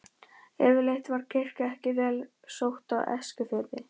Yfirleitt var kirkja ekki vel sótt á Eskifirði.